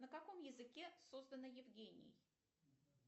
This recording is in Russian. на каком языке создано евгений